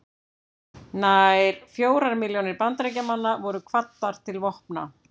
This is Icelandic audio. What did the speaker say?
Nær fjórar milljónir Bandaríkjamanna voru kvaddar til vopna.